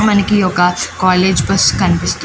మనకి ఒక college bus కన్పిస్తు--